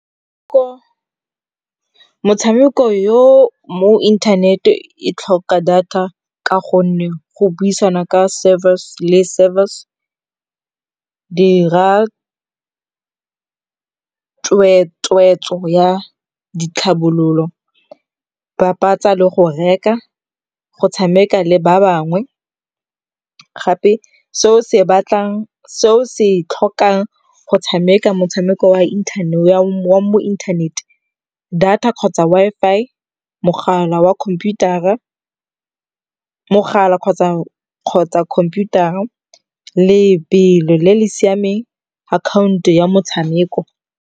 Motshameko yo mo internet e tlhoka data ka gonne go buisana ka service le service. Dira tsweetswo ya ditlhabololo. Papatsa le go reka, go tshameka le ba bangwe. Gape seo se batlang, se o se tlhokang go tshameka motshameko wa mo internet, data kgotsa Wi-Fi, mogala wa computer-a, mogala kgotsa computer-a, lebelo le le siameng, akhaonto ya motshameko.